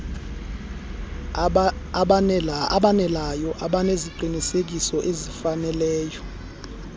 aboneleyo abaneziqinisekiso ezifaneleyo